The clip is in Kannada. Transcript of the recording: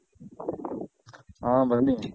ಹಾ ಬನ್ನಿ.